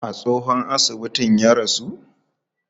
A tsohon asibitin ya rasu?